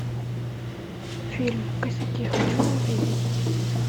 фильм косяки хочу увидеть